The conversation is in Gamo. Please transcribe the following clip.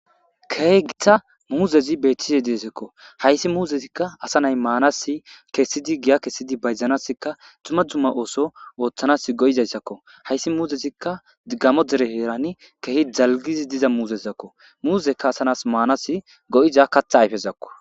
kegita muuzezi beettize deesekko hayssi muuzezikka asa nay maanasi kessidi giya kesidi bayzanasika duma dzumma ooso ooththanas go7izayssakko hayssi muuzezikka diggamo dere heerani kehi jalgizi diza muuzezakko muuzekka asanas maanas go7iza katha ayfezakko